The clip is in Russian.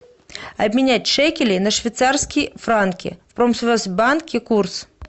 обменять шекели на швейцарские франки в промсвязьбанке курс